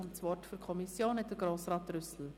Das Wort für die Kommission hat Grossrat Trüssel.